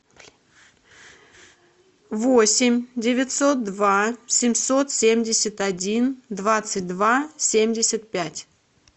восемь девятьсот два семьсот семьдесят один двадцать два семьдесят пять